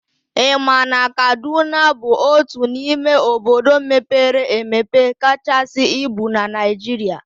I ma na Kaduna bụ otu n'ime obodo mepere emepe kachasị ibu na Naijiria?